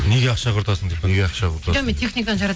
неге ақша құртасың деп пе неге ақша құртасың жоқ мен техниканы